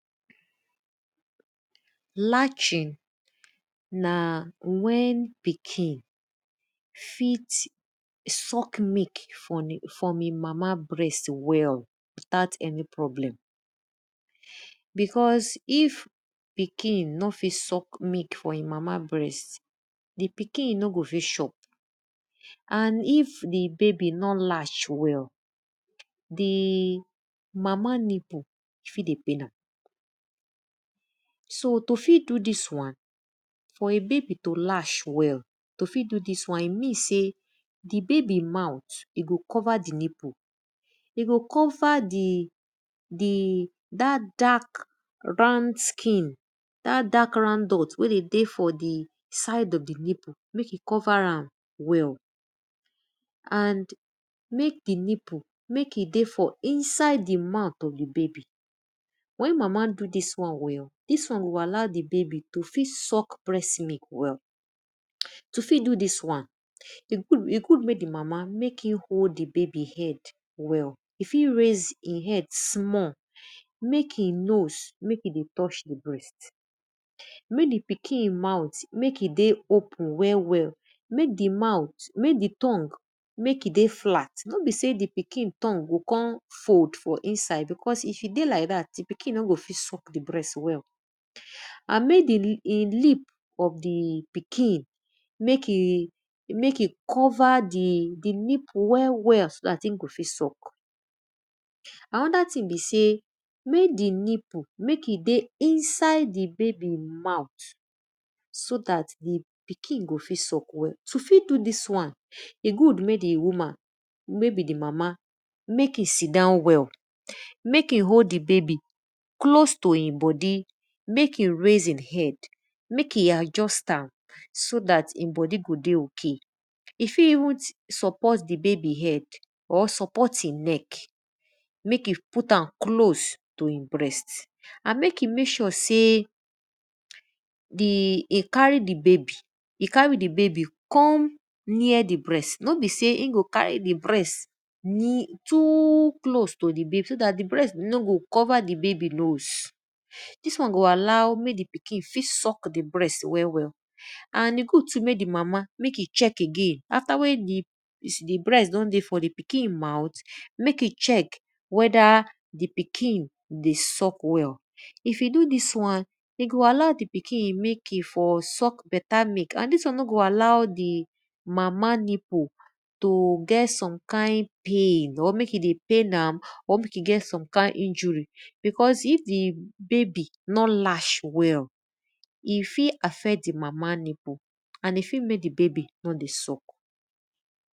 Lashing na wen pikin fit suck milk from e mama brest well without any problem because if pikin no fit suck milk for e mama breast, di pikin no go fit chop. and if di babai nor lash well, di mama nipple fit dey pain am. So to fi do dis wan, for a babi to lash well, e mean sey di babi mouth e go cover di nipple, e go cover di ark round skin, dat dark round dot wey de dey for di side of di nipple mek e cover am well. And mek di nipple, mek e dey for inside di mouth of di baby. Wen ma ado dis won, dis won go allow di baby mek e fit suck breast well. To fit do dis wan, e good mek di mama mek e hold di baby head well, e fit rais e head small, mek e know mek e dey touch di breast mek di pikin mouth mek e dey open well well, mek di mouth mek di tongue mek e dey flat. E no know sey di pikin tongue go kon fold for inside if e dey like dat, di pikin no go fit suck di breask well. And mek di lip of di pikin mek e cover di nipple well well so dat in go fit suck. Anoda thing be sey mek di nipple mek e deey inside di baby mouth so dat di pikin go face up. To fit do dis wan, e good mek di woman wey beb di mam mek e sit down well, mek e hold di baby close to e bodi mek e raise e head mek e adjust am so dat e bodi go dey ok. E fit even support di baby head or support e neck mek e put am close to e breast and mek e make sure sey di e carry di baby come near di breast no be sey e go carry di breast too lose to di baby so dat di breask no go cover di baby nose dis one go allow di pikin fit suck di breast well well. And mek di mama mek e check again afta di brast don dey di pikin mouth, mek e check wed di pi kin dey suck well. If yu do dis wan, de go allow di pikin mek e for suck berta milk and dis won no go allow di mama nipple to get some kind pain or mek e dey pain am or mek e get some kind ijury because if di babay nor lash well, e fit affect e mama nipple and e fit mek di baby nor dey suck.